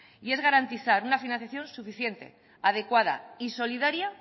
y es garantizar una financiación suficiente adecuada y solidaria